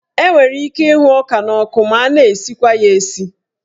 Enwere ike ịhụ ọka n'ọkụ ma na-esikwa ya esi.